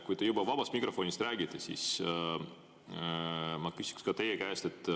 Kui te juba vabast mikrofonist räägite, siis ma küsiksin teie käest selle kohta.